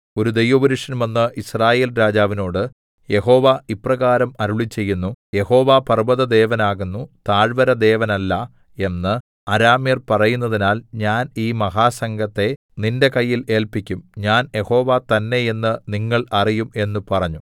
ഒരു ദൈവപുരുഷൻ വന്ന് യിസ്രായേൽ രാജാവിനോട് യഹോവ ഇപ്രകാരം അരുളിച്ചെയ്യുന്നു യഹോവ പർവ്വതദേവനാകുന്നു താഴ്വരദേവനല്ല എന്ന് അരാമ്യർ പറയുന്നതിനാൽ ഞാൻ ഈ മഹാസംഘത്തെ നിന്റെ കയ്യിൽ ഏല്പിക്കും ഞാൻ യഹോവ തന്നേ എന്ന് നിങ്ങൾ അറിയും എന്ന് പറഞ്ഞു